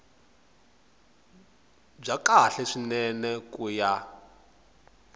bya kahle swinene ku ya